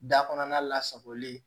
Da kɔnɔna lasagolen